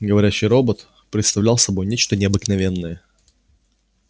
говорящий робот представлял собой нечто необыкновенное